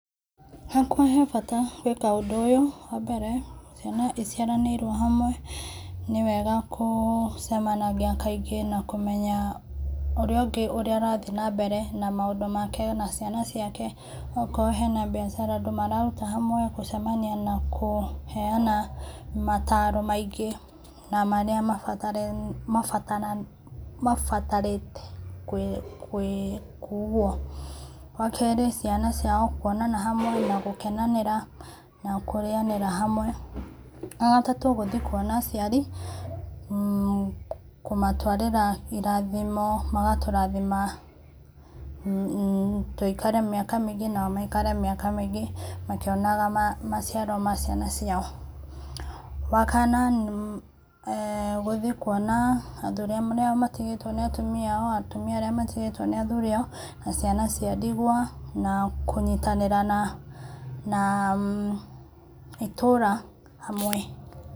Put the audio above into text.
Hakwa he bata gwĩka ũndũ ũyũ, wa mbere, ciana iciaranĩirwo handũ hamwe, nĩ wega kũcemanagia kaingĩ na kũmenya ũrĩa ũngĩ ũrĩa arathiĩ na mbere na maũndũ make ona ciana ciake, okorwo hena biacara andũ mararuta hamwe gũcemania na kũheana motaro maingĩ, na marĩa mabataranĩtie kũo. Wakerĩ, ciana ciao kuonana hamwe na gũkenanĩra na kũrĩanĩra hamwe. Wagatatũ, gũthiĩ kũona aciari, kũmatwarĩra irathimo magaturathima tũikare mĩaka mĩingĩ nao maikare mĩaka mĩingĩ makĩonaga maciaro ma ciana ciao. Wakana, guthiĩ kũona athũri arĩa matigĩtwo nĩ atumia ao, atumia arĩa matigĩtwo nĩ athuri ao na ciana cia ndigwa, na kũnyitanĩra na, itũra hamwe.